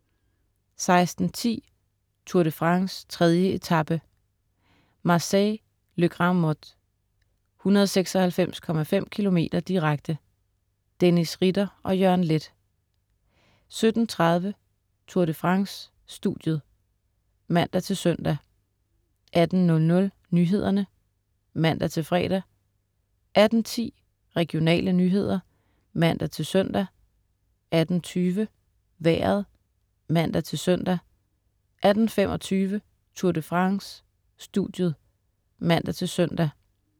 16.10 Tour de France: 3. etape, Marseille - La Grande-Motte, 196,5 km direkte. Dennis Ritter og Jørgen Leth 17.30 Tour de France: Studiet (man-søn) 18.00 Nyhederne (man-fre) 18.10 Regionale nyheder (man-søn) 18.20 Vejret (man-søn) 18.25 Tour de France: Studiet (man-søn)